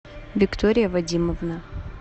виктория вадимовна